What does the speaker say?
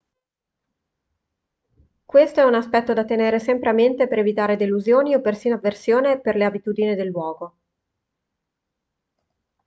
questo è un aspetto da tenere sempre a mente per evitare delusioni o persino avversione per le abitudini del luogo